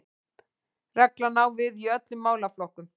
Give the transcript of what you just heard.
Reglan á við í öllum málaflokkum